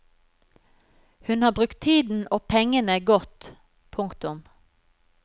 Hun har brukt tiden og pengene godt. punktum